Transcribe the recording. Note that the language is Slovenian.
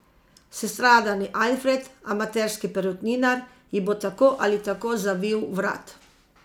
Sestradani Alfred, amaterski perutninar, ji bo tako ali tako zavil vrat!